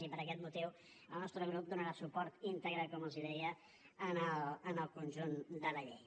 i per aquest motiu el nostre grup donarà suport íntegre com els deia al conjunt de la llei